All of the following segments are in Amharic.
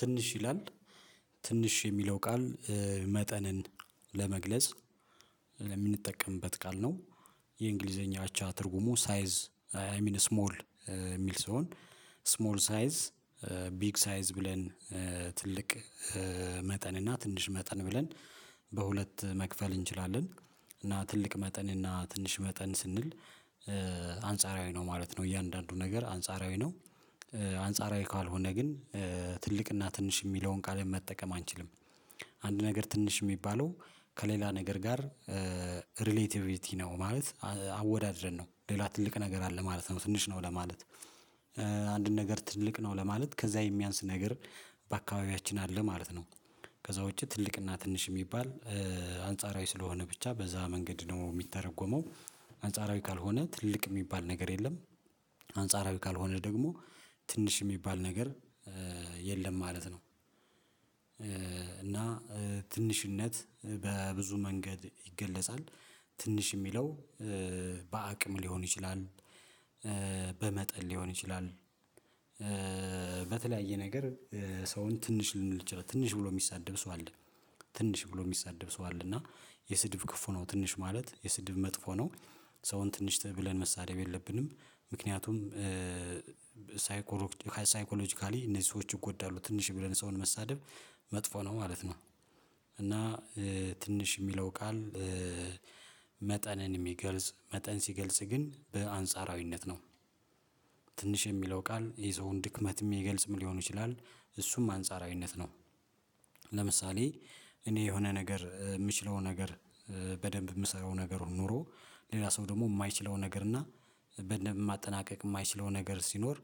ትንሽ ይላል ትንሽ የሚለው ቃል መጠንን ለመግለጽ ለምንጠቀምበት ቃል ነው። የእንግሊዘኛ አቻ ትርጉሙ ሳይዝ አይሚን ስሞል የሚል ስሆን ስሞል ሳይዝ ቢግ ሳይዝ ብለን ትልቅ መጠን እና ትንሽ መጠን ብለን በሁለት መክፈል እንችላለን። እና ትልቅ መጠን እና ትንሽ መጠን ስንል አንጻራዊ ነው ማለት ነው እያንዳንዱ ነገር አንጻራዊ ነው። አንጻራዊ ካልሆነ ግን ትልቅና ትንሽ የሚለውን ቃልም መጠቀም አንችልም። አንድ ነገር ትንሽ የሚባለው ከሌላ ነገር ጋር ሪሌቲቪሊቲ ነው ማለት አወዳድረን ነው ሌላ ትልቅ ነገር አለ ማለት ነው ትንሽ ነው ለማለት አንድን ነገር ትልቅ ነው ለማለት ከዛ የሚያንስ ነገር በአካባቢያችን አለ ማለት ነው። ከዛ ውጪ ትልቅና ትንሽ የሚባል አንጻራዊ ስለሆነ ብቻ በዛ መንገድ ደግሞ የሚተረጎመው አንጻራዊ ካልሆነ ትልቅ የሚባል ነገር የለም። አንጻራዊ ካልሆነ ደግሞ ትንሽ የሚባል ነገር የለም ማለት ነው። እና ትንሽነት በብዙ መንገድ ይገለጻል ትንሽ የሚለው በአቅም ሊሆን ይችላል በመጠን ሊሆን ይችላል። በተለያየ ነገር ሰውን ትንሽ ልንል እንችላለን ትንሽ ብሎ የሚሳደብ ሰው አለ ትንሽ ብሎ የሚሳደብ ሰው አለ እና የስድብ ክፉ ነው ትንሽ ማለት የስድብ መጥፎ ነው ሰውን ትንሽ ብለን መሰዳደብ የለብንም ምክንያቱም ሳይኮሎጂካሊ እነዚህ ሰዎች ይጎዳሉ ትንሽ ብለን ሰውን መሳደብ መጥፎ ነው ማለት ነው። እና ትንሽ የሚለው ቃል መጠንን የሚገልጽ መጠን ሲገልጽ ግን በአንጻራዊነት ነው ትንሽ የሚለው ቃል የሰውን ድክመት የሚገልጽም ሊሆን ይችላል እሱም አንጻራዊነት ነው። ለምሳሌ እኔ የሆነ ነገር የምችለው ነገር በደንብ የምሰራው ነገር ኖሮ ሌላ ሰው ደግሞ የማይችለው ነገር እና በደንብ ማጠናቀቅ የማይችለው ነገር ሲኖር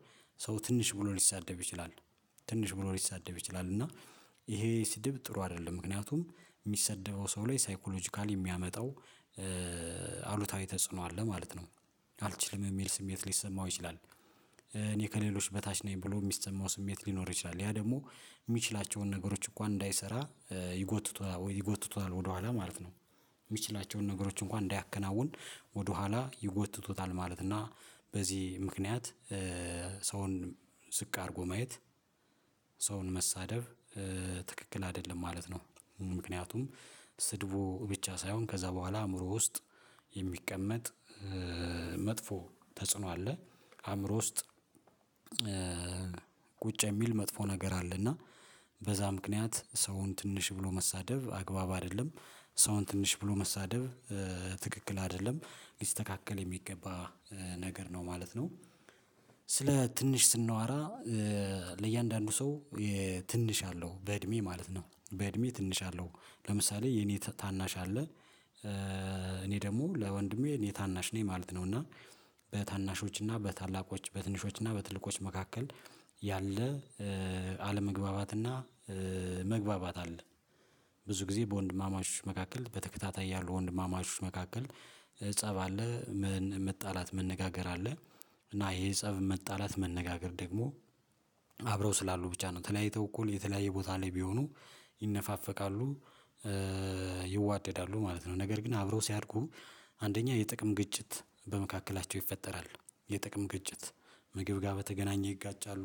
ሰው ትንሽ ብሎ ሊሳደብ ይችላል ትንሽ ብሎ ሊሰደብ ይችላል እና ይሄ ስድብ ጥሩ አይደለም ምክንያቱም የሚሰደበው ሰው ላይ ሳይኮሎጂካሊ የሚያመጣው አሉታዊ ተጽዕኖ አለ ማለት ነው። አልችልም የሚል ስሜት ሊሰማው ይችላል እኔ ከሌሎች በታች ነኝ ብሎ የሚሰማው ስሜት ሊኖር ይችላል ያ ደግሞ የሚችላቸውን ነገሮች እንኳን እንዳይሰራ ይጎትቱታል ወደኋላ ማለት ነው። የሚችላቸውን ነገሮች እንኳን እንዳያከናውን ወደኋላ ይጎትቱታል ማለት እና በዚህ ምክንያት ሰውን ዝቅ አድርጎ ማየት ሰውን መሳደብ ትክክል አይደለም ማለት ነው። ምክንያቱም ስድቡ ብቻ ሳይሆን ከዛ በኋላ አእምሮ ውስጥ የሚቀመጥ መጥፎ ተጽዕኖ አለ አእምሮ ውስጥ ቁጭ የሚል መጥፎ ነገር አለና በዛ ምክንያት ሰውን ትንሽ ብሎ መሳደብ አግባብ አይደለም ሰውን ትንሽ ብሎ መሳደብ ትክክል አይደለም ሊስተካከል የሚገባ ነገር ነው ማለት ነው። ስለ ትንሽ ስናወራ ለእያንዳንዱ ሰው ትንሽ አለው በእድሜ ማለት ነው በእድሜ ትንሽ አለው ለምሳሌ የኔ ታናሽ አለ። እኔ ደግሞ ለወንድሜ እኔ ታናሽ ነኝ ማለት ነው እና በታናሾች እና በታላቆች በትንሾች እና በትልቆች መካከል ያለ አለመግባባትና መግባባት አለ ብዙ ጊዜ በወንድማማቾች መካከል በተከታታይ ያሉ ወንድማማቾች መካከል ፀብ አለ መጣላት መነጋገር አለ እና ይሄ ፀብ መጣላት መነጋገር ደግሞ አብረው ስላሉ ብቻ ነው ተለያይተው እኩል የተለያየ ቦታ ላይ ቢሆኑ ይነፋፈቃሉ ይዋደዳሉ ማለት ነው። ነገር ግን አብረው ሲያድጉ አንደኛ የጥቅም ግጭት በመካከላቸው ይፈጠራሉ የጥቅም ግጭት ምግብ ጋር በተገናኘ ይጋጫሉ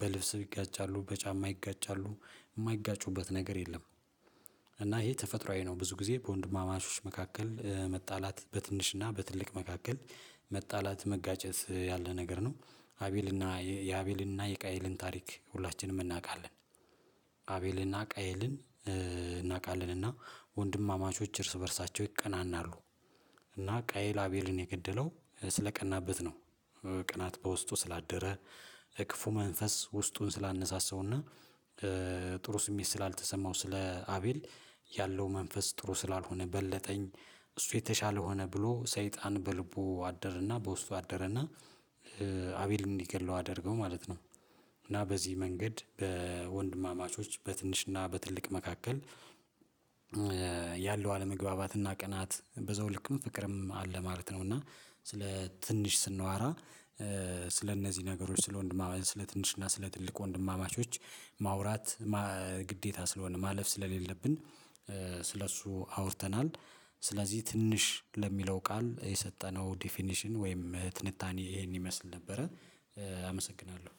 በልብስ ይጋጫሉ በጫማ ይጋጫሉ የማይጋጩበት ነገር የለም። እና ይሄ ተፈጥሮአዊ ነው ብዙ ጊዜ በወንድማማቾች መካከል መጣላት በትንሽና በትልቅ መካከል መጣላት መጋጨት ያለ ነገር ነው አቤልና የአቤልና የቃኤልን ታሪክ ሁላችንም እናውቃለን። አቤልና ቃኤልን እናውቃለን እና ወንድማማቾች እርስ በእርሳቸው ይቀናናሉ እና ቃኤል አቤልን የገደለው ስለቀናበት ነው ቅናት በውስጡ ስላደረ ክፉ መንፈስ ውስጡን ስላነሳሰውና ጥሩ ስሜት ስላልተሰማው ስለ አቤል ያለው መንፈስ ጥሩ ስላልሆነ በለጠኝ እሱ የተሻለ ሆነ ብሎ ሰይጣን በልቡ አደረና በውስጡ አደረና አቤልን እንዲገድለው አደረነው ማለት ነው። እና በዚህ መንገድ በወንድማማቾች በትንሽና በትልቅ መካከል ያለው አለመግባባትና ቅናት በዘውልክም ፍቅርም አለ ማለት ነው። እና ስለ ትንሽ ስናወራ ስለእነዚህ ነገሮች ስለ ወንድማማቾች ስለ ትንሽና ስለ ትልቅ ወንድማማቾች ማውራት ግዴታ ስለሆነ ማለፍ ስለሌለብን ስለእሱ አውርተናል ስለዚህ ትንሽ ለሚለው ቃል የሰጠነው ዲፊኒሽን ወይም ትንታኔ ይሄን ይመስል ነበረ። አመሰግናለሁ